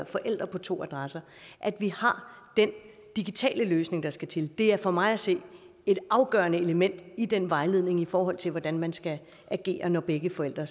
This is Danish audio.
forældre på to adresser har den digitale løsning der skal til det er for mig at se et afgørende element i den vejledning i forhold til hvordan man skal agere når begge forældre